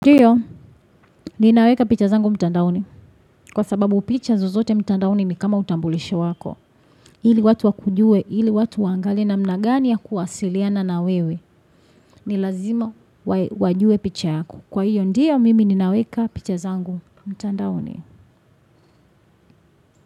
Ndio, ninaweka picha zangu mtandaoni. Kwa sababu picha zozote mtandaoni ni kama utambulisho wako. Ili watu wakujue, hili watu waangalie namna gani ya kuwasiliana na wewe. Ni lazima wajue picha yako. Kwa hiyo, ndio mimi ninaweka picha zangu mtandaoni.